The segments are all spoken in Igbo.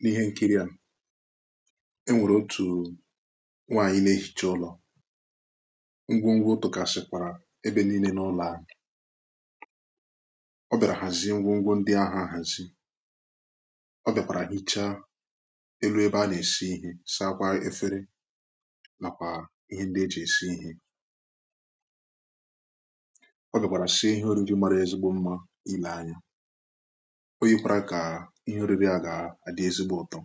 n’ihe nkiri à e nwèrè otù nwàànyị na-ehicha ụlọ̀ ngwongwo dọkasịkwara ebe niile n’ụlọ̀ ahụ̀ ọ bịara hazie ngwongwo ndị ahụ̀ ahàzi ọ bịakwàrà hichaa elu ebe a na-esi ihè sakwa efere nàkwà ihe ndị e jì èsi ihè ọ bịakwàrà sie ihe oriri marà ezigbo mma ile anya o yikwara kà ihẹ nrìbì a gà-àdị ezigbo ụtọ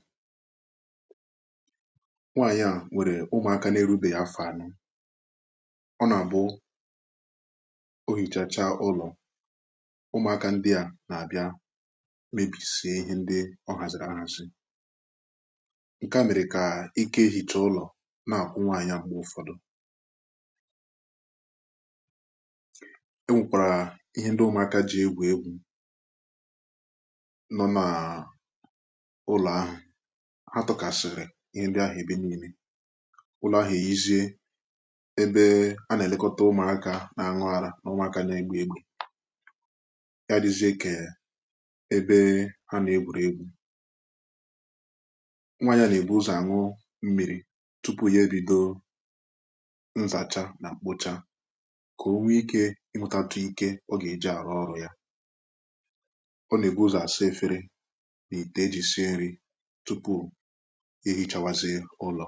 nwànyị à nwèrè ụmụ̀aka na-erubè yà afọ̀ anụ ọ nà-àbụ o yìchàchà ụlọ̀ ụmụ̀aka ndị à nà-àbịa mebisìe ihẹ ndị ọ hazìrì arȧ zi ǹkẹ̀ à mẹrẹ kà ikà ehicha ụlọ̀ nà-àgwụ nwànyị à m̀gbè ụfọdụ e nwèkwàrà ihẹ ndị ụmụ̀aka jị egwù nọ nàà ụlọ̀ ahụ̀ ha tụkasịrị ihe ndị ahụ̀ ebe niilè ụlọ̀ ahụ̀ e yizie ebe a nà-èlekọta ụmụ̀akȧ nà-àṅụ arȧ nà ụmụ̀akȧ nà-egbu egbu̇ ya dịzie kà ebe ha nà-egbùrù egbu̇ nwaànyị nà-èbu ụzọ̀ àṅụ mmiri̇ tupu ya ebido nzacha nà mkpocha kà o nwee ike ihụtatụ ike ọ gà-eji àrụ ọrụ̇ ya n’ite eji si nri tupu ehichawazie ụlọ